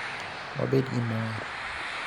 Wabed gi mor.